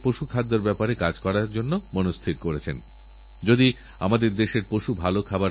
যখনই দক্ষিণআফ্রিকার কথা মনে করা হয় মহাত্মা গান্ধী এবং নেলসন ম্যাণ্ডেলার কথা মনে আসা খুবইস্বাভাবিক